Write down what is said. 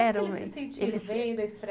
Eles se sentiram bem da